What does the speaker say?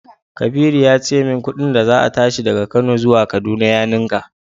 Kabiru ya ce min kudin da za a tashi daga Kano zuwa kaduna ya ninka.